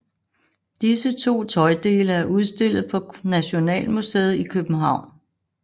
Disse to tøjdele er udstillet på Nationalmuseet i København